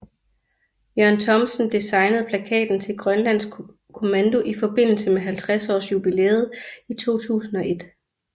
Jørgen Thomsen designede plakaten til Grønlands Kommando i forbindelse med 50 års jubilæet i 2001